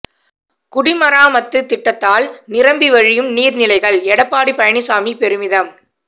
குடிமராமத்து திட்டத்தால் நிரம்பி வழியும் நீர்நிலைகள் எடப்பாடி பழனிசாமி பெருமிதம்